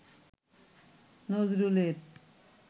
নজরুলের